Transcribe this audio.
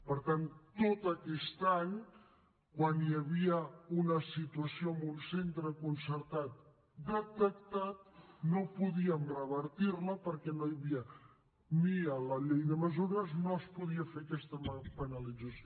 per tant tot aquest any quan hi havia una situació en un centre concertat detectat no podíem revertir la perquè no hi havia ni a la llei de mesures no es podia fer aquesta penalització